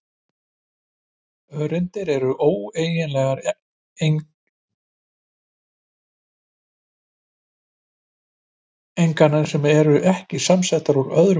Öreindir eru ódeilanlegar einingar, það er að segja ekki samsettar úr öðrum ögnum.